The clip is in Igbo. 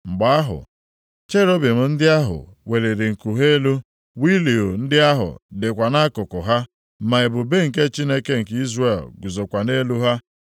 Mgbe ahụ, cherubim ndị ahụ weliri nku ha elu, wịịlu ndị ahụ dịkwa nʼakụkụ ha ma ebube nke Chineke nke Izrel guzokwa nʼelu ha.